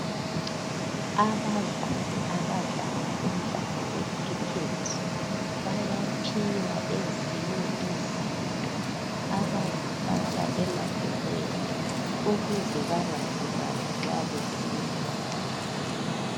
Abadlali abadlala umdlalo wekhrikhethi bayaphiwa ezinye izinto abazifaka emadolweni ukuze bangalimali nxa besiwa